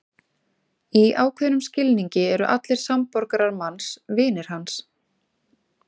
Í ákveðnum skilningi eru allir samborgarar manns vinir hans.